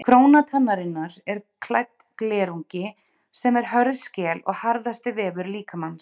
Króna tannarinnar er klædd glerungi sem er hörð skel og harðasti vefur líkamans.